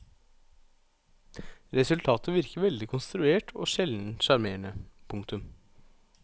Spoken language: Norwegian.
Resultatet virker veldig konstruert og sjelden sjarmerende. punktum